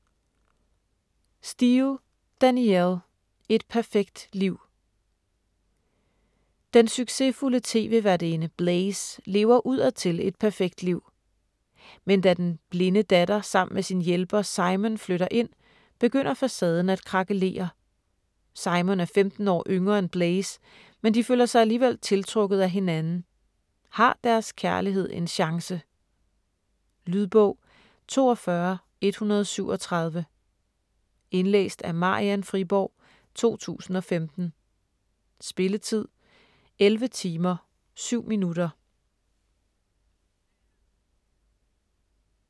Steel, Danielle: Et perfekt liv Den succesfulde tv-værtinde Blaise lever udadtil et perfekt liv. Men da den blinde datter sammen med sin hjælper Simon flytter ind, begynder facaden at krakelere. Simon er 15 år yngre end Blaise, men de føler sig alligevel tiltrukket af hinanden. Har deres kærlighed en chance? Lydbog 42137 Indlæst af Marian Friborg, 2015. Spilletid: 11 timer, 7 minutter.